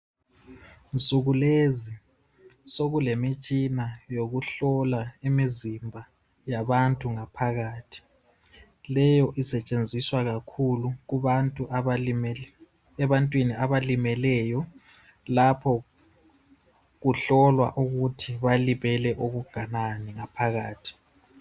Insuku lezi , sekulemitshina yokuhlola imizimba yabantu ngaphakathi. Leyo isetshenziswa kakhulu, kubantu abalimele, ebantwini abalimeleyo. Lapho, kuhlolwa ukuthi balimele okunganani ngaphakathi.